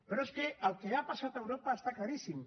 però és que el que ha passat a europa està claríssim